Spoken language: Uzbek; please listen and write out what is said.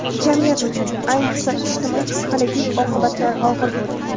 Jamiyat uchun, ayniqsa, ijtimoiy-psixologik oqibatlar og‘ir bo‘ldi.